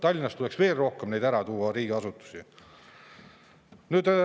Tallinnast tuleks rohkem riigiasutusi ära tuua.